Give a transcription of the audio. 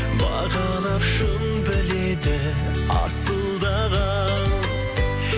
бағалап шын біледі асылдаған